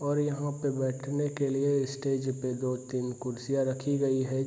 और यहाँ पे बैठने के लिए स्टेज पे दो-तीन कुर्सियाँ रखी गई है।